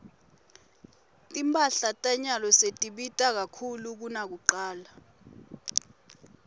timphahla tanyalo setibita kakhulu kunakucala